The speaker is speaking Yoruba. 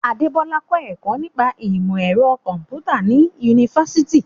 Adebola kọ́ ẹ̀kọ́ nípa ìmọ̀ ẹ̀rọ kọ̀m̀pútà ní yunifásítì.